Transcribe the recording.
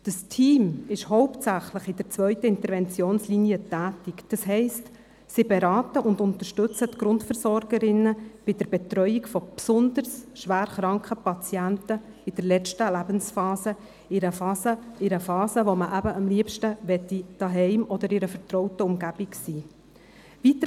Das Team ist hauptsächlich in der zweiten Interventionslinie tätig, das heisst, es berät und unterstützt die Grundversorgerinnen bei der Betreuung besonders schwer kranker Patienten in der letzten Lebensphase, in einer Phase, in der man am liebsten zu Hause oder in einer vertrauten Umgebung sein möchte.